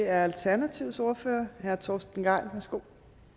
er alternativets ordfører herre torsten gejl værsgo